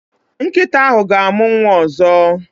Nkịta ahụ ga-amụ nwa ọzọ.